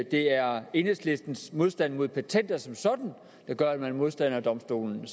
det er enhedslistens modstand mod patenter som sådan der gør at man er modstander af domstolen